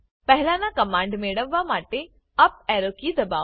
પહેલાંના કમાન્ડ મેળવવા માટે અપ એરો કી દબાવો